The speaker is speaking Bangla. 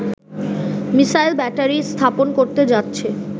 মিসাইল ব্যাটারি স্থাপন করতে যাচ্ছে